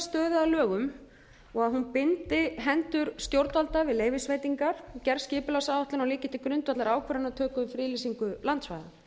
stöðu að lögum og að hún bindi hendur stjórnvalda við leyfisveitingar gerð skipulagsáætlana og liggi til grundvallar ákvarðanatöku um friðlýsingu landsvæða